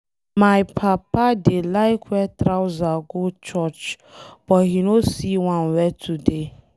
My papa dey like wear trouser go church but he no see one wear today.